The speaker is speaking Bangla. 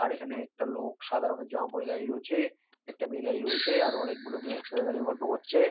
আর এখানে একটা লোক সাদা রঙের জামা পরে দাঁড়িয়ে রয়েছে একটা মেয়ে দাঁড়িয়ে রয়েছে আরো অনেকগুলো মেয়ে একসাথে দাঁড়িয়ে গল্প করছে।